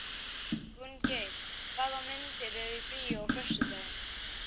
Gunngeir, hvaða myndir eru í bíó á föstudaginn?